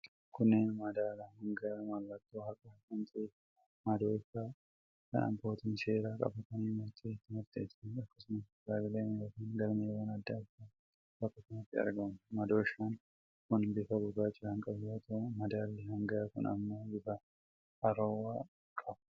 Kunnneen madaala hangaa, mallattoo haqaa kan ta'ee fi madooshaa kan abbootiin seeraa qabatanii murtee itti murteessaniidha. Akkasumas kitaabileen yookiin galmeewwan adda addaa bakka kanatti argamu. Madooshaan kun bifa gurraacha kan qabu yoo ta'u, madaalli hangaa kun ammoo bifa arroowa qaba.